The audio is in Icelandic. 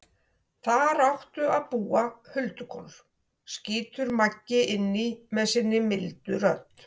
Þar áttu að búa huldukonur, skýtur Magga inn í með sinni mildu rödd.